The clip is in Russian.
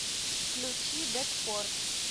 включи дэткор